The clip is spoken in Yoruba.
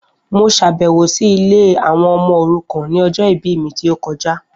Mo ṣàbẹ̀wọ̀ si ilé àwọn ọmọ òrukàn ni ọjọ ìbí mi ti o kojá